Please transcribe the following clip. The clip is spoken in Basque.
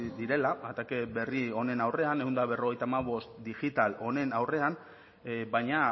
direla atake berri honen aurrean ehun eta berrogeita hamabost digital honen aurrean baina